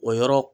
O yɔrɔ